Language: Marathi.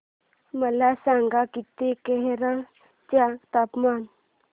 मला सांगा की केरळ चे तापमान